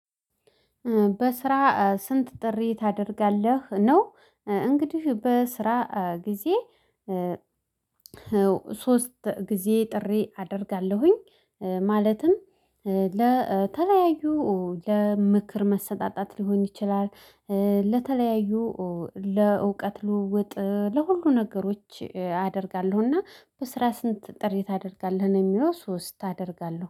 በስራ ስንት ጥሪ ታደርጋለህ ነው? እንግዲህ በስራ ጊዜ ሶስት ጊዜ ጥሪ አደርጋለሁኝ። ማለትም ለተለያዩ ለምክር መሰጣጣት ሊሆን ይችላል። ለተለያዩ ለእውቀት ልውውጥ ለሁሉ ነገሮች አደርጋለሁና። በስራ ስንት ጥሪ ታደርጋለህ ነው? የሚለው ሶስት አደርጋለሁ